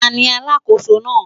Ta ni alákòóso náà?